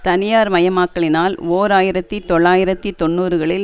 தனியார் மயமாக்கலினால் ஓர் ஆயிரத்தி தொள்ளாயிரத்தி தொன்னூறுகளில்